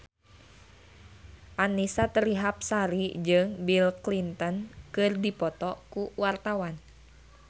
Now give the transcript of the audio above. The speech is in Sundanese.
Annisa Trihapsari jeung Bill Clinton keur dipoto ku wartawan